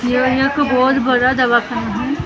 यह एक बहुत बड़ा दवाखाना है जहा--